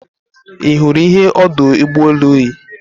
Ị hụrụ ihe ọdụ ụgbọ elu yi?